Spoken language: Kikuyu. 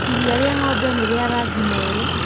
Irĩa rĩa ng'ombe nĩ rĩa rangi mwerũ.